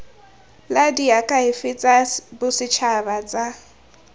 la diakhaefe tsa bosetšhaba tsa